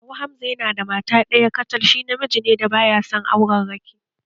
Kawu Hamza yana da mata ɗaya kacal, shi namiji ne da baya son aurarraki